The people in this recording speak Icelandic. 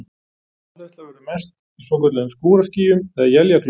Rafhleðsla verður mest í svokölluðum skúraskýjum eða éljaklökkum.